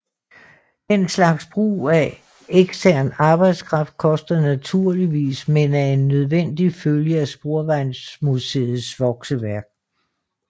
Den slags brug af ekstern arbejdskraft koster naturligvis men er en nødvendig følge af Sporvejsmuseets vokseværk